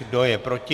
Kdo je proti?